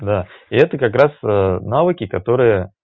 да и это как раз навыки которые